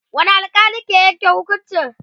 wani alkali ke Yanke hukuncin?